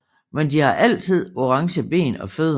Men de har altid orange ben og fødder